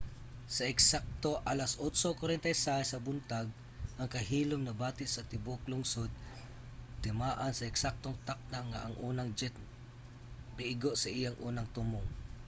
sa eksakto alas 8:46 sa buntag ang kahilom nabati sa tibuok lungsod timaan sa eksaktong takna nga ang unang jet miigo sa iyang unang tumong